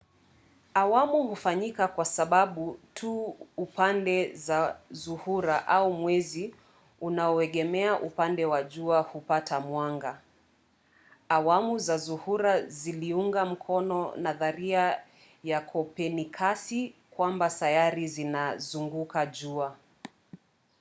awamu hufanyika kwa sababu tu upande wa zuhura au wa mwezi unaoegemea upande wa jua hupata mwanga. awamu za zuhura ziliunga mkono nadharia ya kopernikasi kwamba sayari zinazunguka jua